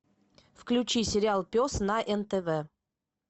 включи сериал пес на нтв